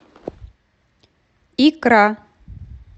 икра